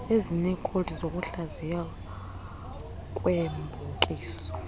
ezineekhowudi zokuhlaziywa kweebhokisi